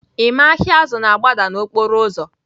Emma ahịa azụ na-agbada n'okporo ụzọ